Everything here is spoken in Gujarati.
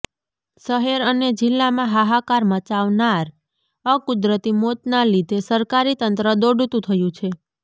શહેર અને જિલ્લામાં હાહાકાર મચાવનાર અકુદરતી મોતના લીધે સરકારીતંત્ર દોડતુ થયું છે